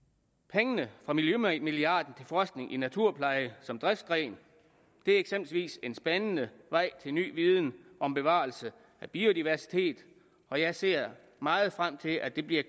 pengene fra miljømilliarden til forskning i naturpleje som driftsgren er eksempelvis en spændende vej til ny viden om bevarelse af biodiversitet og jeg ser meget frem til at det bliver